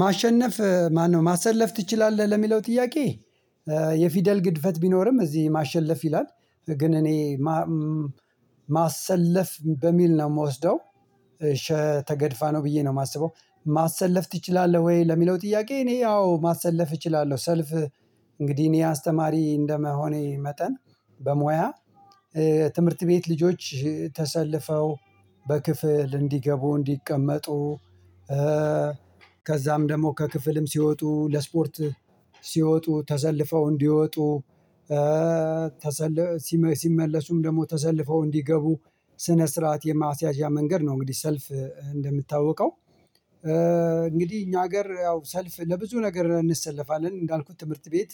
ማሸነፍ ማነው ማሰለፍ ትችላለህ ለሚለው ጥያቄ? የፊደል ግድፈት ቢኖርም እዚህ ማሸለፍ ይላል ግን እኔ ማሰለፍ በሚል ነው የምወስደው። ተገድፋ ነው ብዬ ነው የማስበው። ማሰለፍ ትችላለህ ወይ? ለሚለው ጥያቄ እኔ አዎ ማሰለፍ እችላለሁ ሰልፍ። እንግዲህ እኔ አስተማሪ እንደመሆኔ መጠን በሙያ ትምህርት ቤት ልጆች ተሰልፈው በክፍል እንዲገቡ እንዲቀመጡ። ከዛም ደግሞ ከክፍልም ሲወጡ ለስፖርት ሲወጡ ተሰልፈው እንዲወጡ። ተሰለ ሲመለሱም ደግሞ ተሰልፈው እንዲገቡ ስነ ስርዓት የማስያዣ መንገድ ነው። እንግዲህ ሰልፍ እንደሚታወቀው እንግዲህ እኛ ሀገር ያው ሰልፍ ለብዙ ነገር እንሰለፋለን። እንዳልኩት ትምህርት ቤት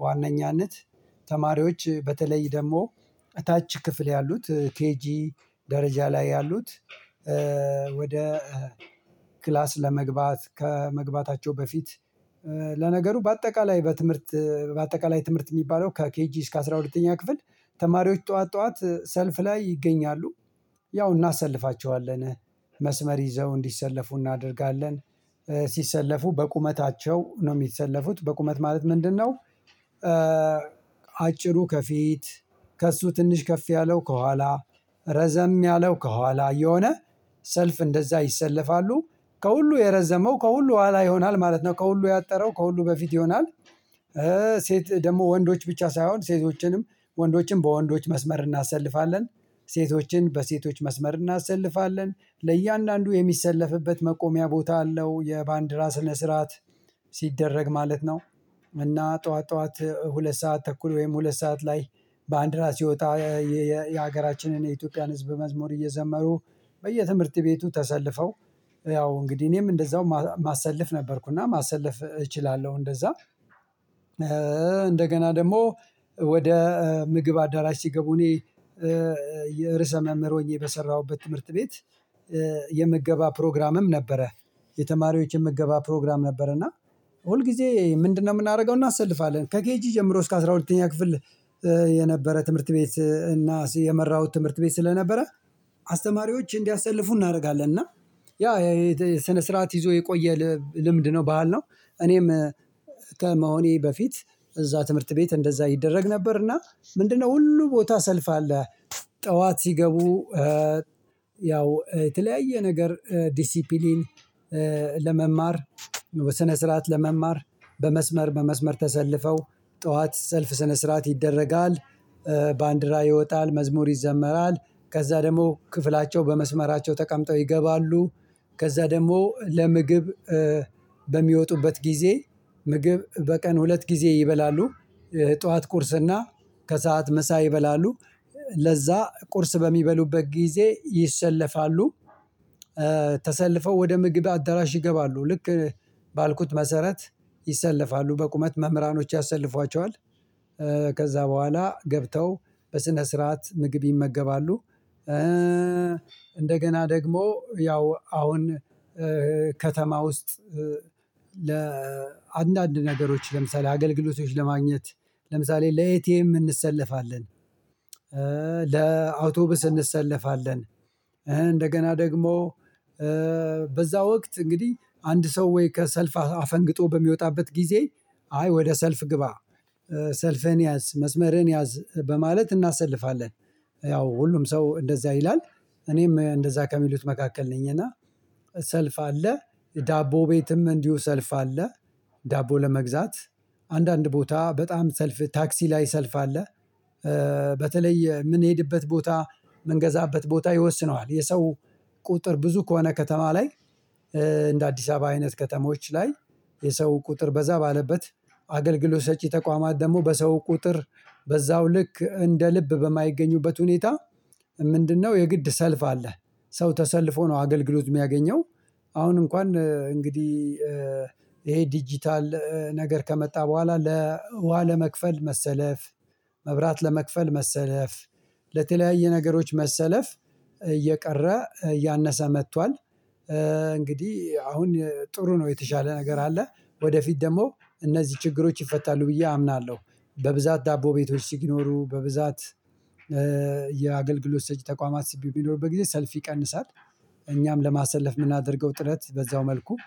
በዋነኛነት ተማሪዎች በተለይ ደግሞ እታች ክፍል ያሉት ኬጂ ደረጃ ላይ ያሉት። ወደ ክላስ ለመግባት ከመግባታቸው በፊት። ለነገሩ በአጠቃላይ በትምህርት በአጠቃላይ ትምህርት የሚባለው ከኬጂ እስከ አስራ ሁለተኛ ክፍል ተማሪዎች ጠዋት ጠዋት ሰልፍ ላይ ይገኛሉ። ያው እናሰልፋቸዋለን መስመር ይዘው እንዲሰለፉ እናደርጋለን። ሲሰለፉ በቁመታቸው ነው የሚሰለፉት በቁመት ማለት ምንድነው? አጭሩ ከፊት ከእሱ ትንሽ ከፍ ያለው ከኋላ ረዘም ያለው ከኋላ እየሆነ ሰልፍ እንደዛ ይሰለፋሉ። ከሁሉ የረዘመው ከሁሉ ኋላ ይሆናል ማለት ነው ከሁሉ ያጠረው ከሁሉ በፊት ይሆናል። ሴት ደግሞ ወንዶች ብቻ ሳይሆን ሴቶችንም ወንዶችንም በወንዶች መስመር እናሰልፋለን። ሴቶችን በሴቶች መስመር እናሰልፋለን ለእያንዳንዱ የሚሰለፍበት መቆሚያ ቦታ አለው የባንዲራ ስነ ስርዓት ሲደረግ ማለት ነው። እና ጠዋት ጠዋት ሁለት ሰዓት ተኩል ወይም ሁለት ሰዓት ላይ ባንዲራ ሲወጣ የሀገራችንን የኢትዮጵያን ህዝብ መዝሙር እየዘመሩ በየትምህርት ቤቱ ተሰልፈው። ያው እንግዲህ እኔም እንደዛው ማሰለፍ ነበርኩና ማሰለፍ እችላለሁ እንደዛ። እንደገና ደግሞ ወደ ምግብ አዳራሽ ሲገቡ እኔ የርእመ መምህር ሆኜ በሰራሁበት ትምህርት ቤት የምገባ ፕሮግራምም ነበረ። የተማሪዎች የምገባ ፕሮግራም ነበረ እና ሁል ጊዜ ምንድነው? የምናደርገው እናሰልፋለን ከኬጂ ጀምሮ እስከ አስራ ሁለተኛ ክፍል። የነበረ ትምህርት ቤት እና የመራሁት ትምህርት ቤት ስለነበረ። አስተማሪዎች እንዲያሰልፉ እናደርጋለን እና ያ ስነ ስርዓት ይዞ የቆየ ልምድ ነው ባህል ነው። እኔም ከመሆኔ በፊት እዛ ትምህርት ቤት እንደዛ ይደረግ ነበርና ምንድነው ሁሉ ቦታ ሰልፍ አለ። ጠዋት ሲገቡ ያው የተለያየ ነገር ዲሲፕሊን ለመማር በስነ ስርዓት ለመማር በመስመር በመስመር ተሰልፈው ጠዋት ሰልፍ ስነ ስርዓት ይደረጋል። ባንዲራ ይወጣል መዝሙር ይዘመራል ከዛ ደግሞ ክፍላቸው በመስመራቸው ተቀምጠው ይገባሉ። ከዛ ደግሞ ለምግብ በሚወጡበት ጊዜ ምግብ በቀን ሁለት ጊዜ ይበላሉ። ጠዋት ቁርስና ከሰአት ምሳ ይበላሉ። ለዛ ቁርስ በሚበሉበት ጊዜ ይሰለፋሉ። ተሰልፈው ወደ ምግብ አዳራሽ ይገባሉ ልክ ባልኩት መሰረት ይሰለፋሉ በቁመት መምህራኖች ያሰልፏቸዋል። ከዛ በኋላ ገብተው በስነ ስርዓት ምግብ ይመገባሉ። እንደገና ደግሞ ያው አሁን ከተማ ውስጥ ለአንዳንድ ነገሮች ለምሳሌ አገልግሎቶች ለማግኘት ለምሳሌ ለኤቲኤም እንሰለፋለን። ለአውቶብስ እንሰለፋለን። እንደገና ደግሞ በዛ ወቅት እንግዲህ አንድ ሰው ወይ ከሰልፍ አፈንግጦ በሚወጣበት ጊዜ አይ ወደ ሰልፍ ግባ ሰልፍህን ያዝ መስመርህን ያዝ በማለት እናሰልፋለን። ያው ሁሉም ሰው እንደዛ ይላል። እኔም እንደዛ ከሚሉት መካከል ነኝ እና ሰልፍ አለ። ዳቦ ቤትም እንዲሁ ሰልፍ አለ። ዳቦ ለመግዛት አንዳንድ ቦታ በጣም ሰልፍ ታክሲ ላይ ሰልፍ አለ። በተለይ የምንሄድበት ቦታ የምንገዛበት ቦታ ይወስነዋል የሰው ቁጥር ብዙ ከሆነ ከተማ ላይ። እንደ አዲስ አበባ አይነት ከተሞች ላይ። የሰው ቁጥር በዛ ባለበት አገልግሎት ሰጪ ተቋማት ደግሞ በሰው ቁጥር በዛው ልክ እንደ ልብ በማይገኙበት ሁኔታ። ምንድነው የግድ ሰልፍ አለህ? ሰው ተሰልፎ ነው አገልግሎት የሚያገኘው። አሁን እንኳን እንግዲህ ይሄ ዲጂታል ነገር ከመጣ በኋላ ለውሃ ለመክፈል መሰለፍ። መብራት ለመክፈል መሰለፍ። ለተለያየ ነገሮች መሰለፍ። እየቀረ እያነሰ መጥቷል። እንግዲህ አሁን ጥሩ ነው የተሻለ ነገር አለ። ወደፊት ደግሞ እነዚህ ችግሮች ይፈታሉ ብዬ አምናለሁ። በብዛት ዳቦ ቤቶች ሲኖሩ በብዛት የአገልግሎት ሰጪ ተቋማት በሚኖሩበት ጊዜ ሰልፍ ይቀንሳል። እኛም ለማሰለፍ የምናደርገው ጥናት በዛው መልኩ